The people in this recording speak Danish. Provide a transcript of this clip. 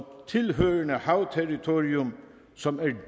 tilhørende havterritorium som er